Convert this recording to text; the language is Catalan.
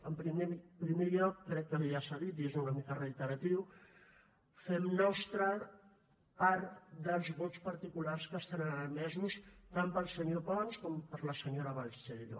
en primer lloc crec que ja s’ha dit i és una mica reiteratiu fem nostres part dels vots particulars que estan emesos tant pel senyor pons com per la senyora balseiro